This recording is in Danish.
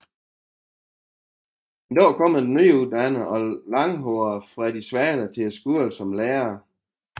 En dag kommer den nyuddannede og langhårede Freddie Svale til skolen som lærer